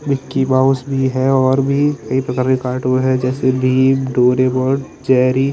Mickey Mouse भी है और भी ये पता नहीं कार्टून है जैसे भीम डोरेमोन जेरी --